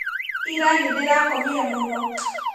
Ira nĩndĩrakomire mũno